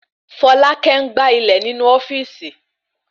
Folákẹ́ n gbà ilẹ̀ inu ofíìsì